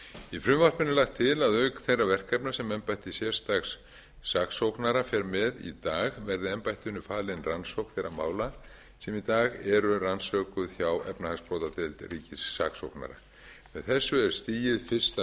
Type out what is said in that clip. í frumvarpinu er lagt til að auk þeirra verkefna sem embætti sérstaks saksóknara fer með í dag verði embættinu falin rannsókn þeirra mála sem í dag eru rannsökuð hjá efnahagsbrotadeild ríkissaksóknara með þessu er stigið fyrsta skrefið til